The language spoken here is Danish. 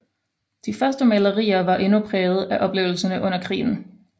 De første malerier var endnu præget af oplevelserne under krigen